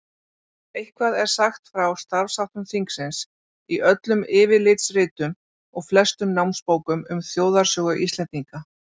Eitthvað er sagt frá starfsháttum þingsins í öllum yfirlitsritum og flestum námsbókum um þjóðarsögu Íslendinga.